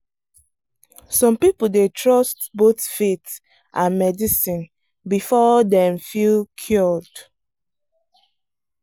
some people dey trust both faith and medicine before dem feel cured.